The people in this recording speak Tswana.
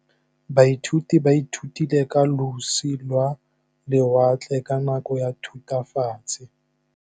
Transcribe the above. Baithuti ba ithutile ka losi lwa lewatle ka nako ya Thutafatshe.